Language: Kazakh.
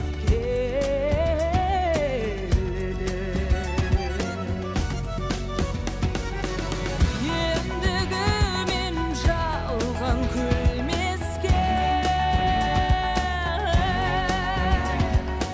келеді мендегі мен жалған күлмеске